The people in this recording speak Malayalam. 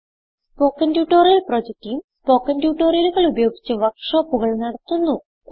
spoken tutorial project team spoken ട്യൂട്ടോറിയലുകൾ ഉപയോഗിച്ച് വർക്ക് ഷോപ്പുകൾ നടത്തുന്നു